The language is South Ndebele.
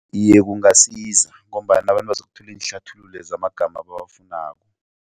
Iye, kungasiza ngombana abantu bazokuthola iinhlathululo zamagama abawafunako.